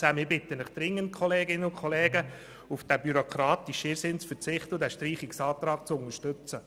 Ich bitte Sie dringend, auf diesen bürokratischen Irrsinn zu verzichten und den Streichungsantrag zu unterstützen.